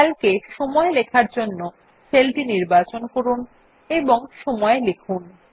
Calc এ লেখার জন্য সেলটি নির্বাচন করুন এবং সময় লিখুন